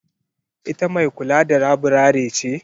Ita mai kula da laburare ce?